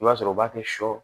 I b'a sɔrɔ u b'a kɛ sɔ